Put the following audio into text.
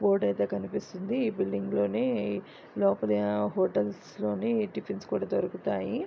Board ఐతే కనిపిస్తున్నది ఈ బిల్డింగ్ లోనే లోపల హ హోటల్స్ లోనే టిఫిన్స్ కూడా దొరుకుతాయి.